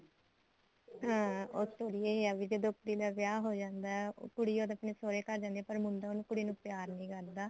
ਹਾਂ ਉਹ story ਏ ਐ ਵੀ ਕਿ ਦਰੁਪਤੀ ਨਾਲ ਵਿਆਹ ਹੋ ਜਾਂਦਾ ਉਹ ਕੁੜੀ ਜਦ ਆਪਣੇ ਸੋਹਰੇ ਘਰ ਜਾਂਦੀ ਐ ਪਰ ਮੁੰਡਾ ਉਹ ਕੁੜੀ ਨੂੰ ਪਿਆਰ ਨੀ ਕਰਦਾ